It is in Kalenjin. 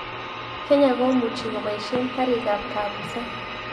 Kenya komuchi keboishe karik ab kapuset